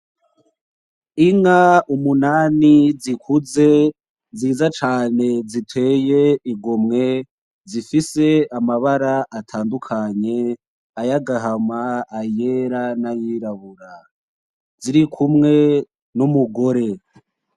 Inka umunani zikuze nziza cane ziteye igomwe zifise amabara atandukanye ayagahama ayera n' ayirabura zirikumwe n' umugore.